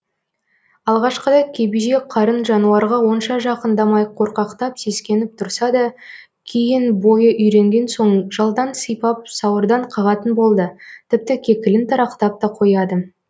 алғашқыда кебеже қарын жануарға онша жақындамай қорқақтап сескеніп тұрса да кейін бойы үйренген соң жалдан сипап сауырдан қағатын болды тіпті кекілін тарақтап та қояды